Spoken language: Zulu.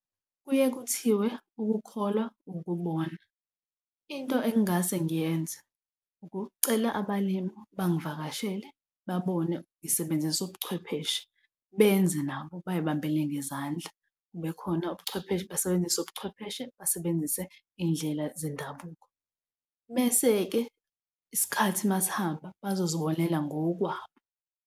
Kuye kuthiwe ukukholwa ukubona. Into engingase ngiyenza ukucela abalimu bangivakashele babone ngisebenzisa ubuchwepheshe benze nabo bayibambele ngezandla. Kube khona basebenzise ubuchwepheshe, basebenzise iy'ndlela zendabuko. Bese-ke isikhathi uma sihamba bazozibonela ngokwabo.